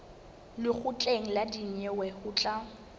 lekgotleng la dinyewe ho tla